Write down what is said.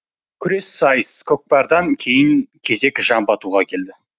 күрес сайыс көкпардан кейін кезек жамбы атуға келді